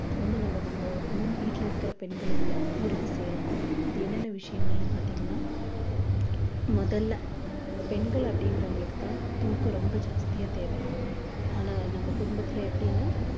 வந்து நம்ம நம்ம வீட்ல இருக்குற பெண்களுக்கு உறுதி செய்யலாம் அது என்னென்ன விஷயங்கள்னு பாத்தீங்கன்னா முதல்ல பெண்கள் அப்படிங்கறவங்களுக்கு தான் தூக்கம் ரொம்ப ஜாஸ்தியா தேவை ஆனா நம்ம குடும்பத்தில எப்படினா